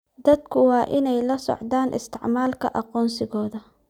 Dadku waa inay la socdaan isticmaalka aqoonsigooda.